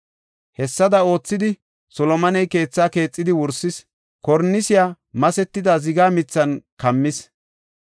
Hessada oothidi, Solomoney keetha keexidi wursis; kornisiya masetida ziga mithan kammis.